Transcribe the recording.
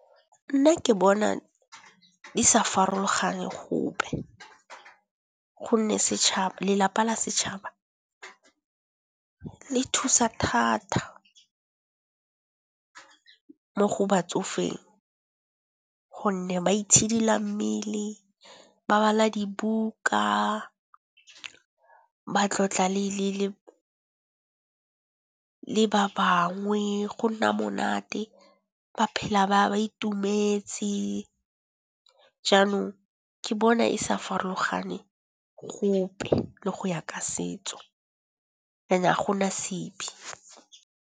Nna ke bona di sa farologane gope, gonne lelapa la setšhaba le thusa thata mo go batsofeng. Gonne ba itshidila mmele. Ba bala dibuka, ba tlotla le ba bangwe, go nna monate ba phela ba itumetse. Jaanong ke bona e sa farologane gope le go ya ka setso and-e a gona sebi.